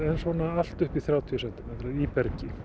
allt upp í þrjátíu sentimetra í bergi